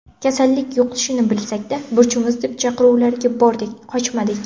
Kasallik yuqishini bilsak-da, burchimiz deb chaqiruvlarga bordik, qochmadik.